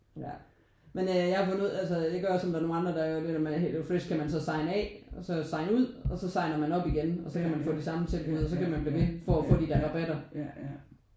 Ja men øh jeg har fundet ud altså det gør også at der er nogen andre der begynder med eller med Hello Fresh kan man så signe af og så signe ud og så signer man op igen og så kan man få de samme tilbud og så kan man blive ved for at få de der rabatter